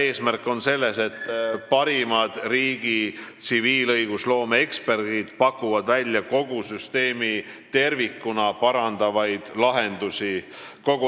Eesmärk on see, et parimad riigi tsiviilõigusloomeeksperdid pakuksid välja kogu süsteemi tervikuna parandavaid lahendusi.